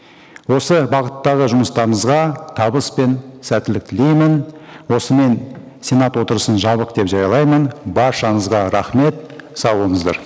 осы бағыттағы жұмыстарыңызға табыс пен сәттілік тілеймін осымен сенат отырысын жабық деп жариялаймын баршаңызға рахмет сау болыңыздар